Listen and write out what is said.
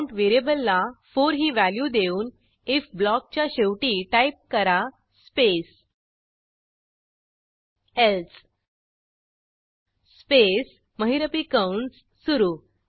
count व्हेरिएबलला 4 ही value देऊन आयएफ ब्लॉकच्या शेवटी टाईप करा स्पेस एल्से स्पेस महिरपी कंस सुरू